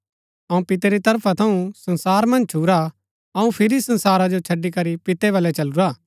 अऊँ पितै री तरफा थऊँ संसार मन्ज छूरा हा अऊँ फिरी संसारा जो छड़ी करी पितै बलै चलूरा हा